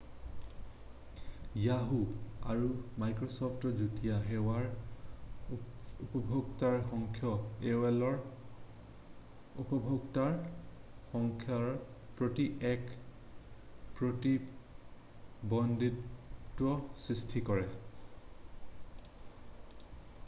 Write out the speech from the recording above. Yahoo! আৰু মাইক্ৰ’চ’ফ্টৰ যুটীয়া সেৱাৰ উপভোক্তাৰ সংখ্যাই aolৰ উপভোক্তাৰ সংখ্যাৰ প্ৰতি এক প্ৰতিদ্বন্দ্বিতাৰ সৃষ্টি কৰিব।